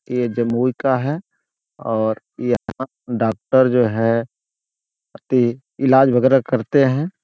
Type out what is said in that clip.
यह जमुई का है और यहाँ डॉक्टर जो है इलाज वगैरा करते हैं।